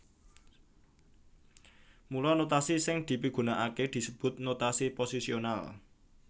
Mula notasi sing dipigunakaké disebut notasi posisional